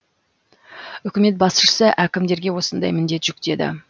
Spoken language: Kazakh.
үкімет басшысы әкімдерге осындай міндет жүктеді